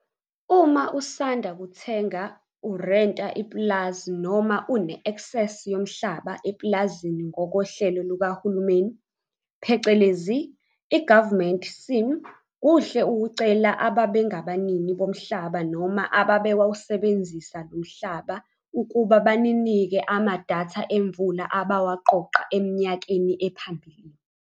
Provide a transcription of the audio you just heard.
Uma usanda kuthenga, urenta ipulazi noma une-eksesi yomhlaba epulazini ngokohlelo lukahulumeni phecelezi i-government scheme kuhle ukucela ababengabanini bomhlaba noma ababewusebenzisa lo mhlaba ukuba baninike amadatha emvula abawaqoqa eminyakeni ephambili.